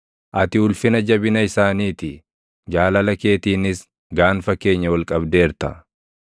Ati ulfina jabina isaanii ti; jaalala keetiinis gaanfa keenya ol qabdeerta.